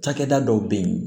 Cakɛda dɔw bɛ yen